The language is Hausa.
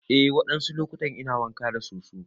Eh wadansu lokutan ina wanka da soso.